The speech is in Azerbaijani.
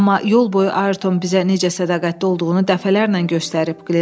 Amma yol boyu Ayerton bizə necə sədaqətli olduğunu dəfələrlə göstərib,